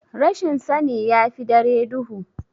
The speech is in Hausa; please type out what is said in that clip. Rashin sani yafi dare duhu.